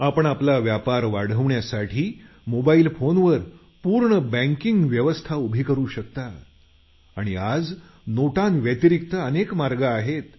आपण आपला व्यापार वाढवण्यासाठी मोबाईल फोनवर पूर्ण बँकिंग व्यवस्था उभी करू शकता आणि आज नोटांव्यतिरिक्त अनेक मार्ग आहेत